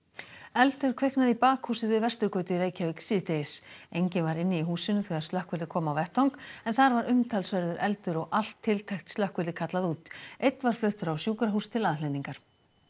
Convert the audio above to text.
eldur kviknaði í bakhúsi við Vesturgötu í Reykjavík síðdegis enginn var inni í húsinu þegar slökkvilið kom á vettvang en þar var umtalsverður eldur og allt tiltækt slökkvilið kallað út einn var fluttur á sjúkrahús til aðhlynningar